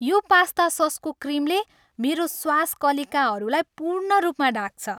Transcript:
यो पास्ता ससको क्रिमले मेरो स्वाद कलिकाहरूलाई पूर्ण रूपमा ढाक्छ।